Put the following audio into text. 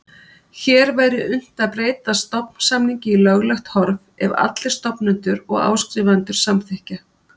Hér væri unnt að breyta stofnsamningi í löglegt horf ef allir stofnendur og áskrifendur samþykkja.